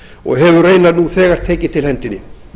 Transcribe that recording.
og hefur raunar nú þegar tekið til hendinni